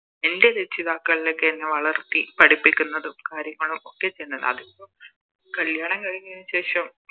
എൻറെ രക്ഷിതാക്കളൊക്കെ എന്നെ വളർത്തി പഠിപ്പിക്കുന്നതും കാര്യങ്ങളും ഒക്കെ ചെയ്യുന്നത് അതിപ്പോ കല്യാണം കഴിഞ്ഞതിനു ശേഷം